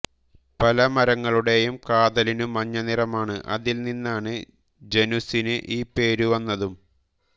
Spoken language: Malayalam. പലമരങ്ങളുടേയും കാതലിനു മഞ്ഞനിറമാണ് അതിൽനിന്നാണ് ജനുസിന് ഈ പേരു വന്നതും